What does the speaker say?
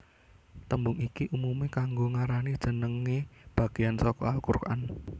Tembung iki umume kanggo ngarani jenenge bageyan saka al Quran